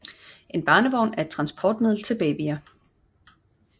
En barnevogn er et transportmiddel til babyer